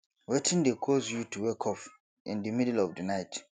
wetin dey cause you to wake up in di middle of di night